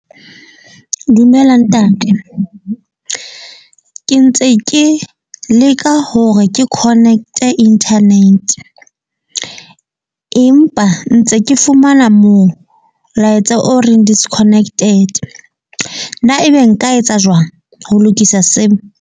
Dumela ntate. Ke ntse ke leka hore ke connect-e internet. Empa ntse ke fumana molaetsa o reng disconnected. Na ebe nka etsa jwang ho lokisa seno?